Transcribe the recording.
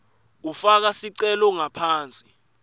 ufaka sicelo ngaphansi